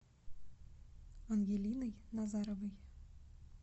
ангелиной назаровой